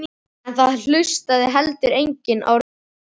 Þeir ættu kannski að tékka á því nýja.